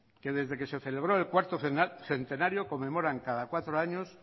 que desde que se celebró el cuarto centenario conmemoran cada cuatro años